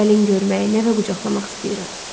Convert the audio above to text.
Gəlin görmək, nəvə qucaqlamaq istəyirəm.